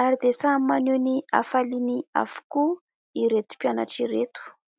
ary dia samy maneho ny afaliany avokoa ireto mpianatra ireto.